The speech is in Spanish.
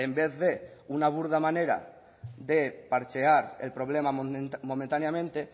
vez de una burda manera de parchear el problema momentáneamente